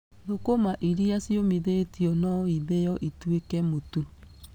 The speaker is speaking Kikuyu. Thũkũma irĩa ciũmithĩtio no ithĩyo ituĩke mũtu.